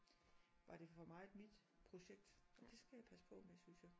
Var det for meget mit projekt og det skal jeg passe på med synes jeg